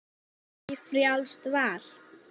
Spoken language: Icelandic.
Eða bara ekki, frjálst val.